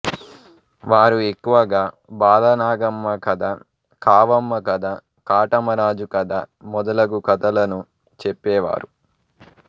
వారు ఎక్కువగా బాలనాగమ్మ కథ కావమ్మ కథ కాటమరాజు కథ మొదలగు కథలను చెప్పేవారు